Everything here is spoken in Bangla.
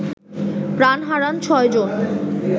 প্রাণ হারান ৬ জন